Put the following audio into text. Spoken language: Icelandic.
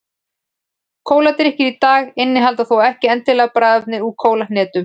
Kóladrykkir í dag innihalda þó ekki endilega bragðefni úr kólahnetu.